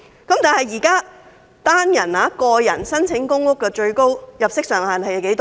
可是，現時單身人士申請公屋的最高入息限額是多少？